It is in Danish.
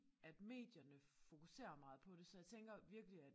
At medierne fokuserer meget på det så jeg tænker virkelig at